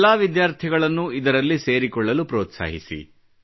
ಎಲ್ಲಾ ವಿದ್ಯಾರ್ಥಿಗಳನ್ನೂ ಇದರಲ್ಲಿ ಸೇರಿಕೊಳ್ಳಲು ಪ್ರೋತ್ಸಾಹಿಸಿ